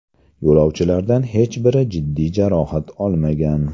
Yo‘lovchilardan hech biri jiddiy jarohat olmagan.